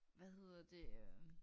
Hvad hedder det øh